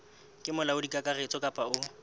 ke molaodi kakaretso kapa o